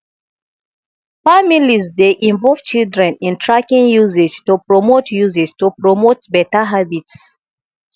families dey involve children in tracking usage to promote usage to promote beta habits